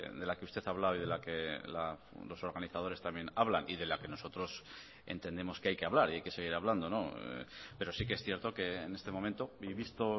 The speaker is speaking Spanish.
de la que usted hablaba y de la que los organizadores también hablan y de la que nosotros entendemos que hay que hablar y hay que seguir hablando pero sí que es cierto que en este momento y visto